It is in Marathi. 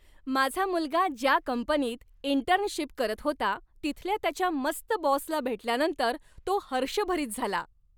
माझा मुलगा ज्या कंपनीत इंटर्नशिप करत होता तिथल्या त्याच्या मस्त बॉसला भेटल्यानंतर तो हर्षभरित झाला.